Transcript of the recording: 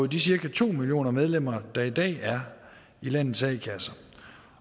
de cirka to millioner medlemmer der i dag er i landets a kasser